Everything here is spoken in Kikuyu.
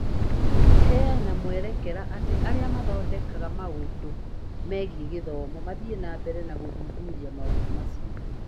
Tũgĩheana mwerekera atĩ arĩa mathondekaga maũndũ megiĩ gĩthomo mathiĩ na mbere na gũthuthuria maũndũ macio